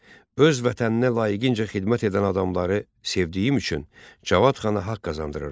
Öz vətəninə layiqincə xidmət edən adamları sevdiyim üçün Cavad xana haqq qazandırıram.